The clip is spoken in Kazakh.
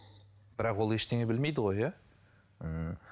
бірақ ол ештеңе білмейді ғой иә ммм